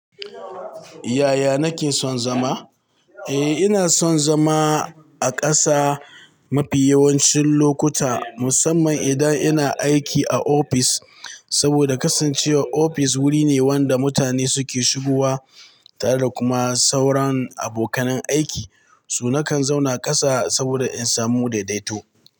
Yaya nake son zama? Eh ina son zama a ƙasa mafi yawancin lokuta musamman idan ina aiki a ofis saboda kasancewar ofis wuri ne wanda mutane suke shigowa tare da kuma sauran abokanai aiki. Su na kan zauna ƙasa saboda in samu daidaito.